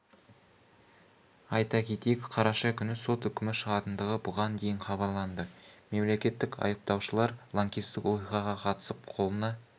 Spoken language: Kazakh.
айта кетейік қараша күні сот үкімі шығатындығы бұған дейін хабарланды мемлекеттік айыптаушылар лаңкестік оқиғаға қатысып қолына